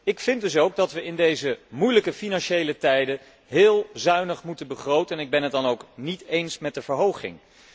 Ik vind dus ook dat wij in deze moeilijke financiële tijden heel zuinig moeten begroten en ik ben het dan ook niet eens met de verhoging.